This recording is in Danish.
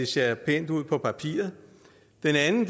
ser pænt ud på papiret den anden